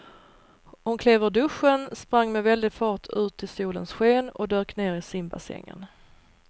Hon klev ur duschen, sprang med väldig fart ut i solens sken och dök ner i simbassängen.